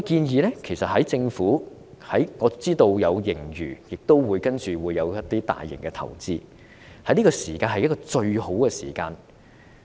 我知道政府有盈餘，接下來會有一些大型投資，這是最好的時機。